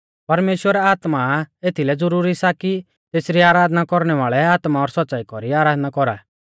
परमेश्‍वर आत्मा आ एथीलै ज़ुरूरी सा कि तेसरी आराधना कौरणै वाल़ै आत्मा और सौच़्च़ाई कौरी आराधना कौरा